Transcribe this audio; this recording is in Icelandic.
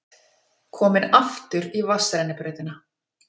Komin aftur í vatnsrennibrautina.